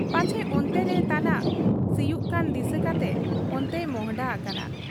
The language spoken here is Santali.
ᱯᱟᱪᱷᱮ ᱚᱱᱛᱮᱨᱮ ᱛᱟᱱᱟᱜ ᱮ ᱥᱤᱭᱩᱜ ᱠᱟᱱ ᱫᱤᱥᱟᱹ ᱠᱟᱛᱮ ᱚᱱᱛᱮᱭ ᱢᱚᱸᱦᱰᱟ ᱦᱟᱠᱟᱱᱟ ᱾